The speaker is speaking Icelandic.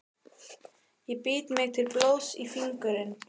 Ég bít mig til blóðs í fingurinn.